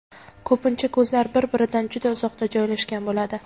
Ko‘pincha ko‘zlar bir-biridan juda uzoqda joylashgan bo‘ladi.